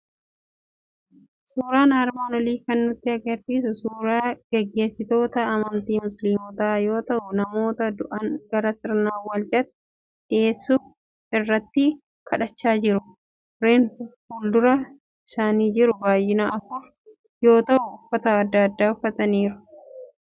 Suuraan armaan olii kan nutti argisiisu suuraa gaggeessitoota amantii Musliimotaa yoo ta'u, namoota du'an gara sirna awwaalchaatti dhiyeessuuf irratti kadhachaa jiru. Reenfifuuldura isaanii jiru baay'inaan afur yoo ta'u, uffata adda addaa uffifamaniiru.